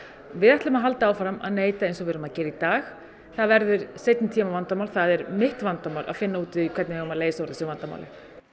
við ætlum að halda áfram að neyta eins og við erum að gera í dag það verður seinni tíma vandamál þitt vandamál að finna út úr því hvernig við eigum að leysa úr þessu vandamáli